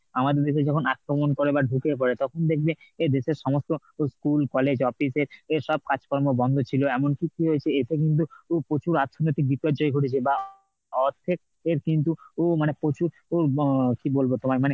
আমাদের দেশে যখন আক্রমণ করে বা ঢুকে পড়ে তখন দেখবে দেশের সমস্ত school, college, office এর সব কাজকর্ম বন্ধ ছিল এমনকি কি হয়েছে দেশে কিন্তু প্রচুর অর্থনৈতিক বিপর্যয় ঘটেছে বা অর্থের কিন্তু উম মানে প্রচুর উম কি বলবো তোমায় মানে